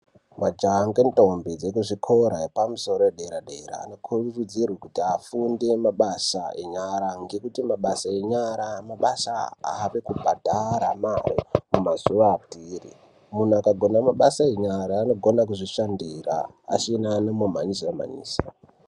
Majaha nendombi dzekuzvikora zvepamusoro zvepadera dera vanokurudzirwa kuti vafunde mabasa enyara ngekuti mabasa enyara mabasa ave kubhadhara mumazuwa atiri. Munhu akagona mabasa yenyara anogona kuzvishandira asina munhu anomumhanyisa mhanyisa.